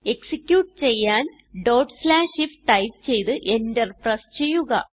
execute ചെയ്യാൻ ifടൈപ്പ് ചെയ്ത് Enter പ്രസ് ചെയ്യുക